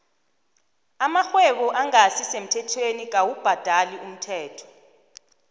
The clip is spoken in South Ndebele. amarhwebo engasi semthethweni dkawu bhadali umthelo